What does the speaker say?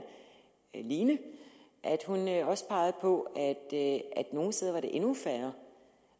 line også peger på at nogle steder er det endnu færre